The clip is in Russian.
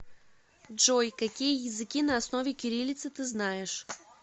джой какие языки на основе кириллицы ты знаешь